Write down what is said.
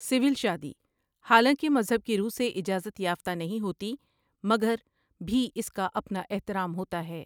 Civil شادی، حالانکہ مذہب کی رو سے اجازت یافتہ نہیں ہوتی، مگر بھی اس کا اپنا احترام ہوتا ہے ۔